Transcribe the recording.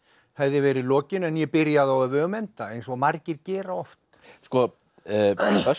hefði verið lokin en ég byrjaði á öfugum enda eins og margir gera oft sko